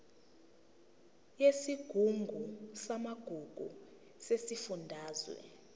yesigungu samagugu sesifundazwe